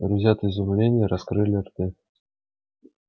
друзья от изумления раскрыли рты